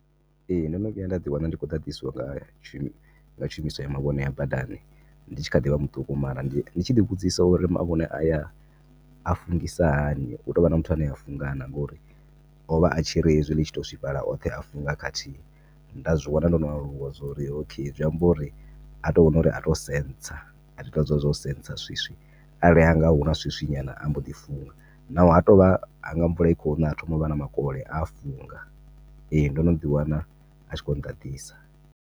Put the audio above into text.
Ee, ndono vhuya nda ḓi wana ndi kho ḓaḓiswa nga shu, nga tshumiso ya mavhone a badani nditshi kha ḓivha muṱuku mara nditshi ḓi vhudzisa uri mavhone aya a fungisa hani, hutovha na muthu ane a funga na ngori ovha a tshiri hezwi ḽitshi to swifhala oṱhe a funga khathihi. Nda zwiwana ndono aluwa zwori okay zwiamba uri ato vhona uri a to sensor a ita hezwila zwo sensor swiswi ha vhuya hanga huna swiswi nyana amboḓi funga naho hatovha hanga mvula ikhona ha thoma uvha na makole a funga. Ee ndo no ḓi wana a tshi kho ḓaḓisa.